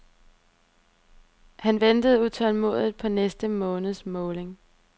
Han venter utålmodigt på næste måneds måling.